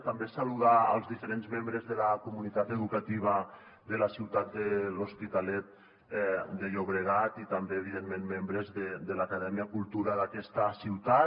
també saludar els diferents membres de la comunitat educativa de la ciutat de l’hospitalet de llobregat i també evidentment membres de l’acadèmia cultura d’aquesta ciutat